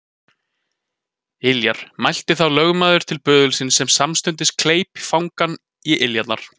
Iljar, mælti þá lögmaður til böðulsins sem samstundis kleip fangann í iljarnar.